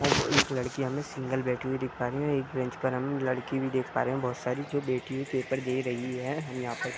और एक लड़की हमें सिंगल बैठे हुई दिख पा रही है एक बेंच पर हम लड़की देख पा रहे है बहुत सारी जो बैठी हुई पेपर दे रही है हम यहाँ पर --